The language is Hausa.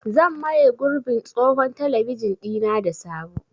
Zan maye gurbin tsohon talabijin ɗina da sabo.